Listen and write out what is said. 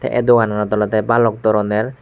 e dogananot olodey balok doroner.